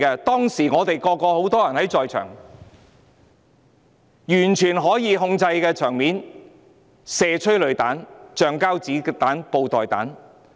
當時我們有很多人在場，場面是完全可以控制的，但警方卻選擇發射催淚彈、橡膠子彈、布袋彈。